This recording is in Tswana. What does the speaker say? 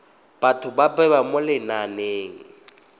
batho ba bewa mo lenaneng